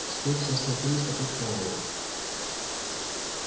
теперь все столпились вокруг мэллоу